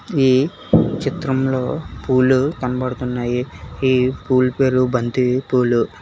ఈ చిత్రంలో పూలు కనబడుతున్నాయి ఈ పూల్ పేరు బంతి పూలు.